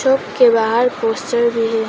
के बाहर पोस्टर भी है।